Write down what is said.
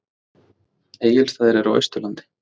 Viltu fara í bíó?